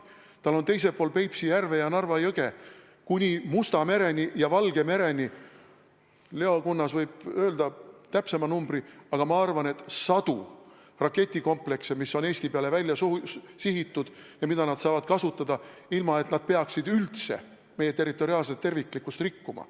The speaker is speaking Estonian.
Tal on teisel pool Peipsi järve ja Narva jõge kuni Musta mereni ja Valge mereni , ma arvan, sadu raketikomplekse, mis on Eesti peale sihitud ja mida ta saab kasutada, ilma et ta peaks üldse meie territoriaalset terviklikkust rikkuma.